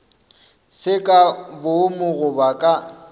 se ka boomo goba ka